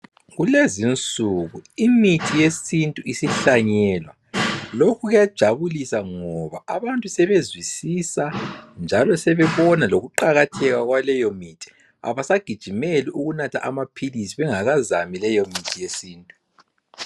Kulezinsuku imithi yesintu isihlanyelwa. Lokhu kuyajabulisa ngoba abantu sebezwisisa njalo sebebona lokuqakatheka kwaleyo mithi. Abasagijimeli ukunatha amaphilisi bengakazami leyo mithi yesintu.